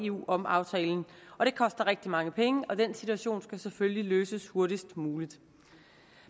eu om aftalen og det koster rigtig mange penge og den situation skal selvfølgelig løses hurtigst muligt